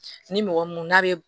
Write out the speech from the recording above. Ni mɔgɔ mun n'a bɛ